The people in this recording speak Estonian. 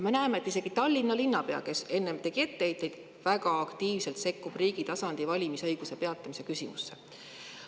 Me näeme, et isegi Tallinna linnapea, kes enne tegi etteheiteid, väga aktiivselt sekkub riigi tasandil valimisõiguse peatamise küsimusse.